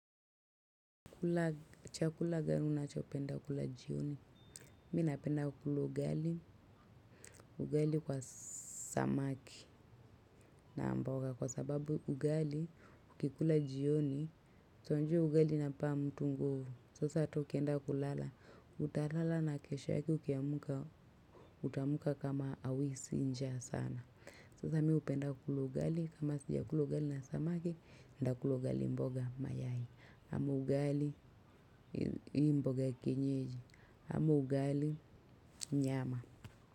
Kula chakula gani nachopenda kula jioni, mi napenda kula ugali, ugali kwa samaki na mboga. Kwa sababu ugali, ukikula jioni, si unajua ugali inampa mtu nguvu, sasa tu ukienda kulala utalala na kesho yake ukiamka, utaamka kama hauhisi njaa sana. Sasa mimi hupenda kula ugali, kama sijakula ugali na samaki, nitakula ugali mboga mayai ama ugali mboga ya kienyeji ama ugali nyama.